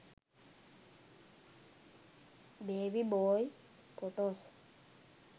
baby boy photos